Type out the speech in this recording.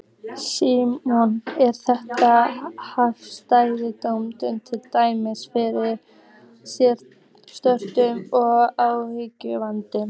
Símon: Er þetta áfellisdómur, til dæmis yfir sérstökum og ákæruvaldinu?